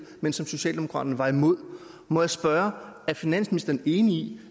men som socialdemokraterne var imod må jeg spørge er finansministeren enig i